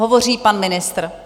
Hovoří pan ministr.